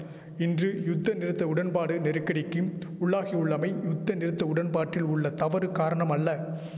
இன்று யுத்தநிறுத்த உடன்பாடு நெருக்கடிக்கிம் உள்ளாகியுள்ளமை யுத்தநிறுத்த உடன்பாட்டில் உள்ள தவறு காரணம் அல்ல